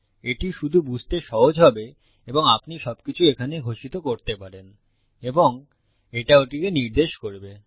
এটি শুধু বুঝতে সহজ হবে এবং আপনি সবকিছু এখানে ঘোষিত করতে পারেন এবং এটা ওটিকে নির্দেশ করবে